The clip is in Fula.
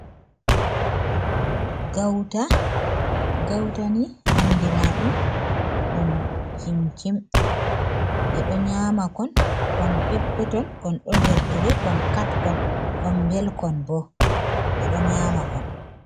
Gauta, gautani andira ɗum, ɗum cimcim ɓe ɗo nyama kon, kon peppeton, kon ɗo nder tire, kon katkon, kon belkon bo, ɓe ɗo nyama kon.